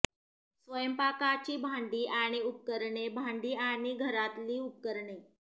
स्वयंपाकाची भांडी आणि उपकरणे भांडी आणि घरातली उपकरणे